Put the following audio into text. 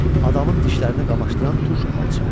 Adamın dişlərini qamaşdıran turş alça.